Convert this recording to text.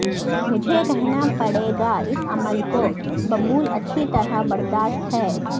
مجھے کہنا پڑے گا اس عمل کو ببول اچھی طرح برداشت ہے